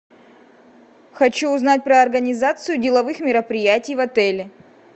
хочу узнать про организацию деловых мероприятий в отеле